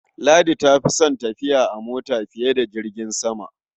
Ladi ta fi son tafiya a mota fiye da jirgin sama.